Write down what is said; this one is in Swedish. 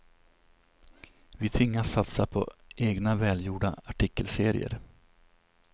Vi tvingas satsa på egna välgjorda artikelserier.